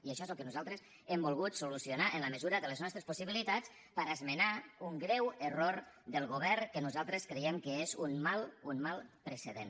i això és el que nosaltres hem volgut solucionar en la mesura de les nostres possibilitats per esmenar un greu error del govern que nosaltres creiem que és un mal un mal precedent